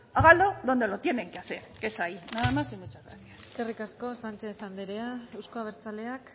háganlo donde lo tienen que hacer que es ahí nada más y muchas gracias eskerrik asko sánchez anderea euzko abertzaleak